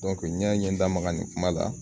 n'i y'a ye n ye da maga nin kuma la